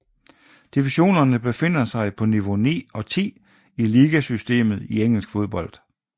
Divisionerne befinder sig på niveau 9 og 10 i ligasystemet i engelsk fodbold